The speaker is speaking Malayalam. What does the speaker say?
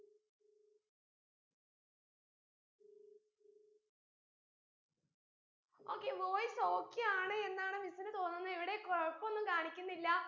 okay voice okay ആണ് എന്നാണ് miss ന് തോന്നുന്നെ ഇവിടെ കുഴപ്പൊന്നു കാണിക്കുന്നില്ല